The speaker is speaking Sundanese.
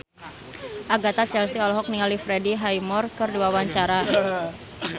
Agatha Chelsea olohok ningali Freddie Highmore keur diwawancara